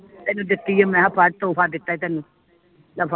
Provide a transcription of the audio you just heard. ਤੈਨੂੰ ਦਿਤੀ ਆ ਮੈਂ ਹਾਂ ਫੜ ਤੋਹਫ਼ਾ ਦਿਤਾ ਤੈਨੂੰ ਲੈ ਫਰ